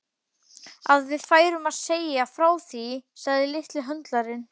Að við færum að segja frá því, sagði litli höndlarinn.